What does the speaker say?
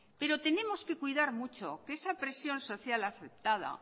pero tenemos que cuidar mucho que esa presión social aceptada